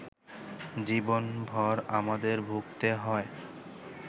জীবনভর আমাদের ভুগতে হয়